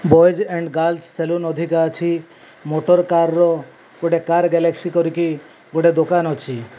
Boys and girls saloon ଅଧିକା ଅଛି motor car ର ଗୋଟେ କାର ଗଲେକ୍ସୀ କରି କି ଗୋଟେ ଦୋକାନ ଅଛି।